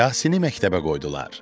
Yasini məktəbə qoydular.